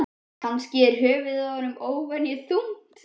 Kannski er höfuðið á honum óvenju þungt?